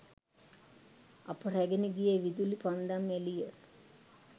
අප රැගෙන ගිය විදුලි පන්දම් එළිය